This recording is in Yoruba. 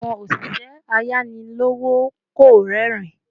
Àwọn oşişẹ ayani lowo kò rerin